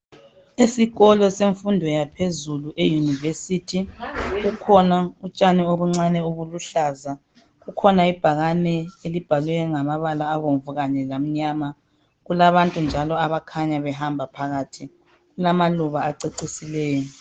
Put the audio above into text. Esikolo semfundo yaphezulu e'University' kukhona utshani obuncane obuluhlaza, kukhona ibhakane elibhalwe ngamabala abomvu kanye lamnyama, kulabantu njalo abakhanya behamba phakathi, kulamaluba acecisileyo.